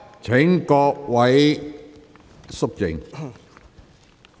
請各位肅靜。